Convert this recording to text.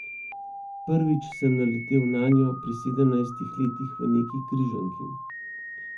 Prvič sem naletel nanjo pri sedemnajstih letih v neki križanki.